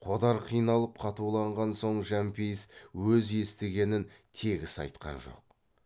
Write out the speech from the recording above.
қодар қиналып қатуланған соң жәмпейіс өз естігенін тегіс айтқан жоқ